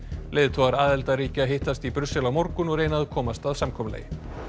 leiðtogar aðildarríkja hittast í Brussel á morgun og reyna að komast að samkomulagi